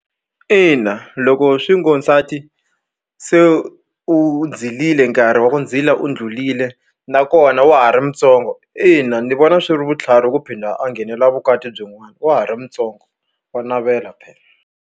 Ina loko swi ngo nsati se u zirile nkarhi wa ku zila u ndlulile nakona wa ha ri mutsongo ina ni vona swi ri vutlhari ku phinda a nghenela vukati byin'wana wa ha ri mutsongo wa navela phela.